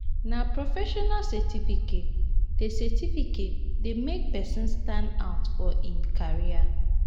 na professional certificate dey certificate dey make pesin stand-out for im career.